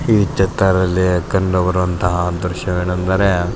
ಈ ಚಿತ್ರ ಗಳಲ್ಲಿ ಕಂಡು ಬರುವತಹ ದ್ರಶ್ಯಗಳೆಂದರೆ --